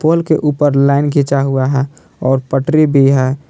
पोल के ऊपर लाईन खिचा हुआ है और पटरी भी है।